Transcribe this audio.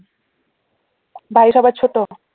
ভাই সবার ছোট?